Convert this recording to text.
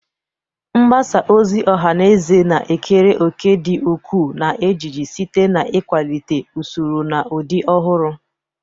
Mgbasa ozi ọha na eze na-ekere òkè dị ukwuu na ejiji, site na ikwalite usoro na ụdị ọhụrụ.